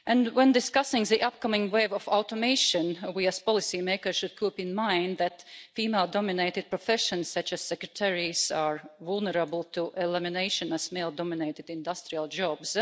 When discussing the upcoming wave of automation, we as policymakers should keep in mind that female dominated professions, such as secretaries, are as vulnerable to elimination as male-dominated industrial jobs.